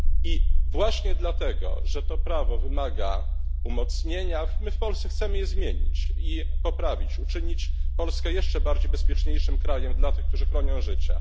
I właśnie dlatego, że to prawo wymaga umocnienia, my w Polsce chcemy je zmienić i poprawić, uczynić Polskę jeszcze bezpieczniejszym krajem dla tych, którzy chronią życia.